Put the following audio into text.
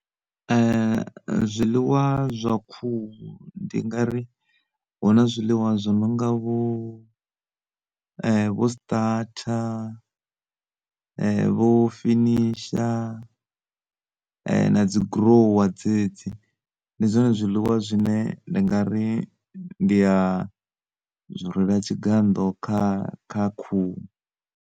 Zwiliwa zwa khuhu ndi ngari huna zwiḽiwa zwo nonga vho vho Starter vho Finisher na dzi Grower dzedzi, ndi zwone zwiḽiwa zwine ndi ngari ndi a zwi rwela tshigannḓo kha khuhu.